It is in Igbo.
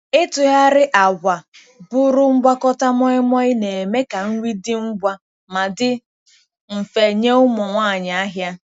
Ịtụgharị agwa bụrụ ngwakọta moi moi na-eme ka nri dị ngwa ma dị mfe nye ụmụ nwanyị ahịa.